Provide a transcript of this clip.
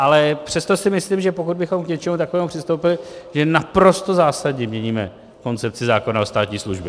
Ale přesto si myslím, že pokud bychom k něčemu takovému přistoupili, tak naprosto zásadně měníme koncepci zákona o státní službě.